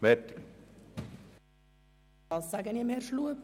Und dies sage ich zu Grossrat Schlup.